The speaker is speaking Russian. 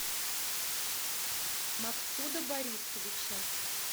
максуда борисовича